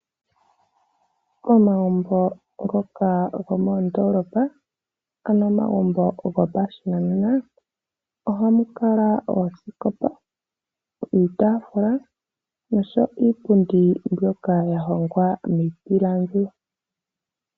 Omagumbo ngoka gomondoolopa, ano omagumbo gopashinanena ohamu kala oosikopa, iitaafula noshowo iipundi mbyoka ya hongwa miipilangi.